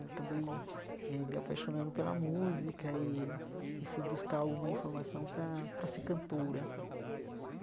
Acabei eh me apaixonando pela música e e fui buscar alguma informação para para ser cantora.